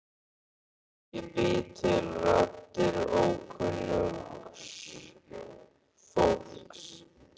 Ég bý til raddir ókunnugs fólks.